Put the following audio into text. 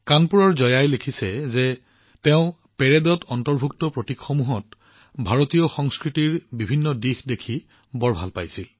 কানপুৰৰ জয়াই লিখিছে যে তেওঁ পেৰেডত অন্তৰ্ভুক্ত ভাৰতীয় সংস্কৃতিৰ বিভিন্ন দিশসমূহ দেখি ভাল পাইছে